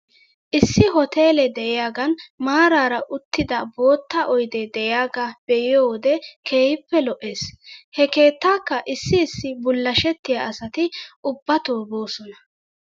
Issi hoteelee de'iyaagan maaraara uttida bootta oydee de'iyaagaa be'iyoo wode keehippe lo'es. He keettaakka issi issi bullashettiyaa asati ubbato boosona.